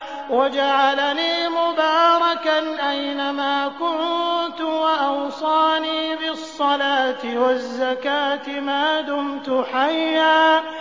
وَجَعَلَنِي مُبَارَكًا أَيْنَ مَا كُنتُ وَأَوْصَانِي بِالصَّلَاةِ وَالزَّكَاةِ مَا دُمْتُ حَيًّا